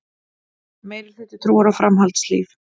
Meirihluti trúir á framhaldslíf